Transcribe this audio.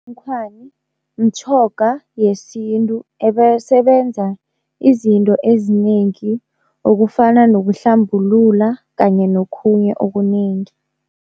Mtjhoga yesintu ebesebenza izinto ezinengi okufana nokuhlambulula kanye nokhunye okunengi.